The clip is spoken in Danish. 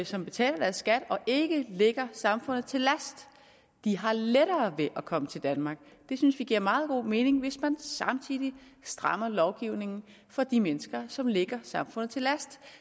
som betaler deres skat og ikke ligger samfundet til last har lettere ved at komme til danmark det synes vi giver meget god mening hvis man samtidig strammer lovgivningen for de mennesker som ligger samfundet til last